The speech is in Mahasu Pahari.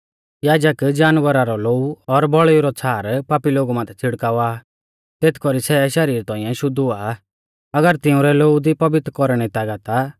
याजक जानवरा रौ लोऊ और बौल़ीऊ रौ छ़ार पापी लोगु माथै छ़िड़कावा आ तेथ कौरी सै शरीर तौंइऐ शुद्ध हुआ आ अगर तिउंरै लोऊ दी पवित्र कौरणै री तागत आ